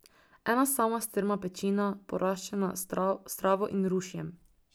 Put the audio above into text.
Ena sama strma pečina, poraščena s travo in rušjem.